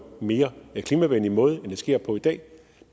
mere klimavenlig måde end det sker på i dag